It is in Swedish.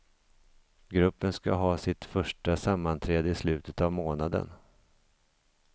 Gruppen ska ha sitt första sammanträde i slutet av månaden.